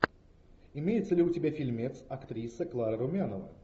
имеется ли у тебя фильмец актриса клара румянова